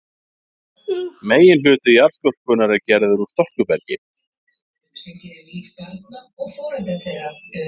Meginhluti jarðskorpunnar er gerður úr storkubergi.